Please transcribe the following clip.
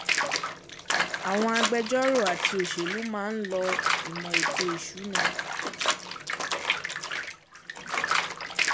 Àwọn agbẹ̀jọ́rò àti òṣèlú máa ń lo ìmò ètò ìsúná.